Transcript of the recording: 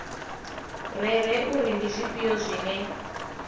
rere uri ndi zwifhio zwine